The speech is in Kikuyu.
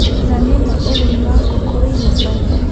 na nĩma ũrĩmi wa ngũkũ wĩ na baita?